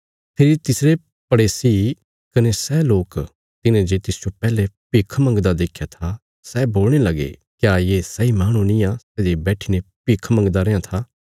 फेरी तिसरे पड़ेसी कने सै लोक तिन्हें जे तिसजो पैहले भिख मंगदा देख्या था सै बोलणे लगे क्या ये सैई माहणु निआं सै जे बैठीने भिख मंगदा रेआं था